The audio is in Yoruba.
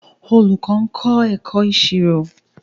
Olùkọ́ ń kọ́ ẹ̀kọ́ ìṣirò